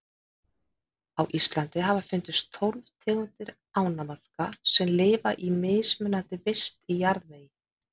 Á Íslandi hafa fundist tólf tegundir ánamaðka sem lifa í mismunandi vist í jarðvegi.